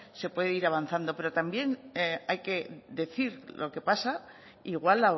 se puede ir avanzando pero también hay que decir lo que pasa igual